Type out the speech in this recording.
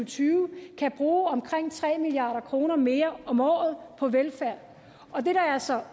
tyve kan bruge omkring tre milliard kroner mere om året på velfærd og det der er så